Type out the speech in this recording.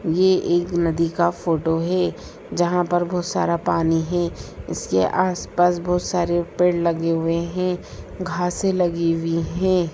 ये एक नदी का फोटो है जहाँ पर बहुत सारा पानी है इसके आसपास बहुत सारे पेड़ लगे हुए हैं घासे लगी हुई है।